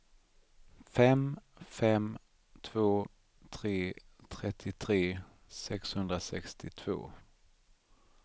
fem fem två tre trettiotre sexhundrasextiotvå